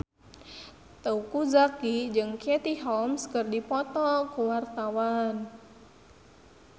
Teuku Zacky jeung Katie Holmes keur dipoto ku wartawan